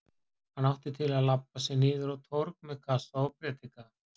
Hann átti til að labba sig niður á torg með kassa og predika.